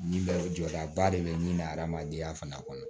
Nin bɛ jɔdaba de bɛ min na hadamadenya fana kɔnɔ